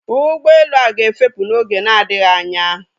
Ụgbọelu a ga-efepù n'oge na-adịghị anya